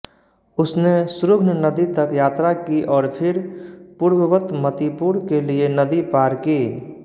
उसने श्रुघ्न नदी तक यात्रा की और फिर पूर्ववत मतिपुर के लिये नदी पार की